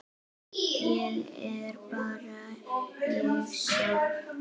Ég er bara ég sjálf.